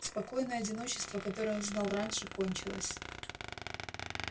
спокойное одиночество которое он знал раньше кончилось